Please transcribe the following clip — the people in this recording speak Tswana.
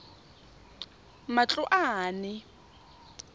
matloane